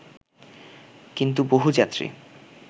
কিন্তু বহু যাত্রী